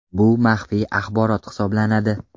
Bu maxfiy axborot hisoblanadi.